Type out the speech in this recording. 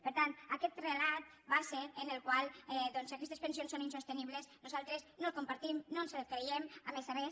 per tant aquest relat segons el qual aquests pensions són insostenibles nosaltres no el compartim no ens el creiem a més a més